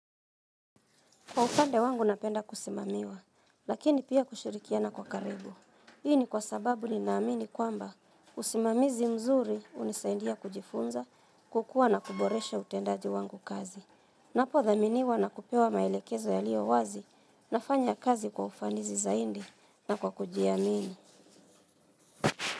Kwa upande wangu napenda kusimamiwa, lakini pia kushirikiana kwa karibu. Hii ni kwa sababu ninaamini kwamba usimamizi mzuri hunisaindia kujifunza, kukua na kuboresha utendaji wangu kazi. Ninapo dhaminiwa na kupewa maelekezo yaliyo wazi nafanya kazi kwa ufanisi zaidi na kwa kujiamini.